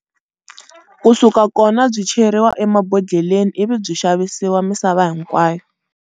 Kusuka kona byi cheriwa emabhodleleni ivi byi xavisiwa misava hinkwayo.